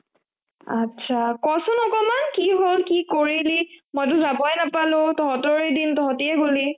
atcha ক চোন আকনমান কি হল ? কি কৰিলি ? মইটো যাবই নাপালো তঁহতৰে দিন, তঁহতিয়ে গলি ।